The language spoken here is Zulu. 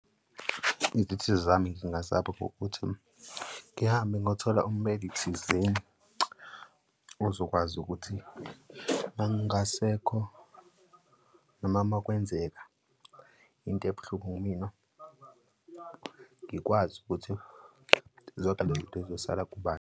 Izithuthi zami ngingazakha ngokuthi ngihambe ngiyothola ummeli thizeni ozokwazi ukuthi, uma ngingasekho noma makwenzeka into ebuhlungu kumina ngikwazi ukuthi zonke lezi zizosala kubani.